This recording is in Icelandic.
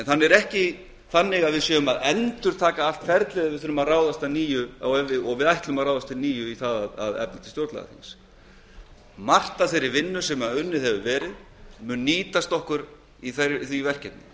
það er ekki þannig að við séum að endurtaka allt ferlið ef við ráðumst að nýju í það að efna til stjórnlagaþings sem við ætlum að gera mikið af þeirri vinnu sem unnið hefur verið mun nýtast okkur í því verkefni